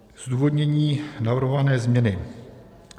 Zdůvodnění navrhované změny.